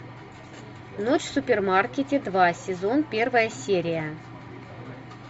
ночь в супермаркете два сезон первая серия